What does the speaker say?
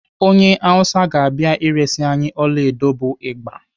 Onye Awụsa ga-abịa eresi anyị ọlaedo bụ Ịgba.